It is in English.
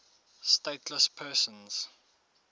stateless persons